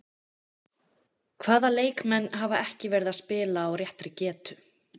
Hvaða leikmenn hafa ekki verið að spila á réttri getu?